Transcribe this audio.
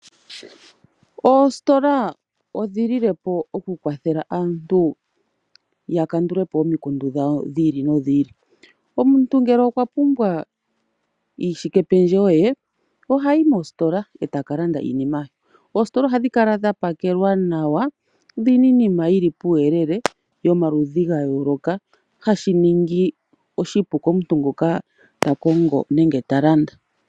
Oositola odhililepo okukwathela aantu ya kandulapo omikundu dhiili nodhiili. Omuntu ngele okwa pumbwa iishike pendjewo ye, ohayi moositola eta ka landa iinima ye. Oositola ohadhi kala dha pakelwa nawa, dhina iinima yili puuyele yomaludhi ga yooloka, hashi ningi oshipu komuntu ngoka ta kongo nenge ta landa.